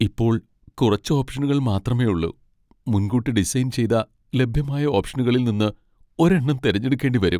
ഇപ്പോൾ കുറച്ച് ഓപ്ഷനുകൾ മാത്രമേയുള്ളൂ. മുൻകൂട്ടി ഡിസൈൻ ചെയ്ത ലഭ്യമായ ഓപ്ഷനുകളിൽ നിന്ന് ഒരെണ്ണം തിരഞ്ഞെടുക്കേണ്ടി വരും.